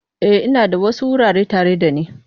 E, ina da wasu wurare tare da ni.